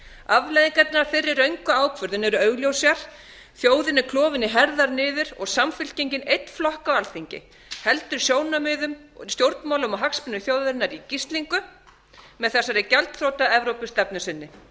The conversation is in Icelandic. afleiðingarnar af þeirri röngu ákvörðun eru augljósar þjóðin er klofin í herðar niður og samfylkingin einn flokka á alþingi heldur sjónarmiðum stjórnmálum og hagsmunum þjóðarinnar í gíslingu með þessari gjaldþrota evrópustefnu sinni